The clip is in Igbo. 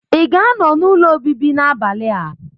Ị ga-anọ n'ụlọ obibi n'abalị a?